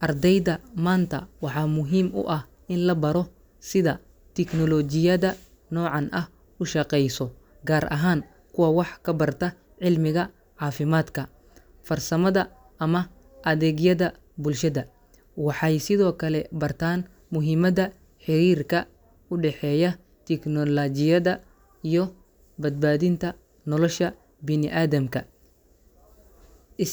Ardayda maanta waxaa muhiim u ah in la baro sida tiknoolojiyada noocan ah u shaqeyso, gaar ahaan kuwa wax ka barta cilmiga caafimaadka, farsamada ama adeegyada bulshada. Waxay sidoo kale bartaan muhiimada xiriirka u dhexeeya tiknoolajiyada iyo badbaadinta nolosha bini’aadamka is.